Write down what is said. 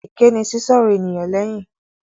Èké ni sísọ̀rọ̀ ènìyàn léyìn.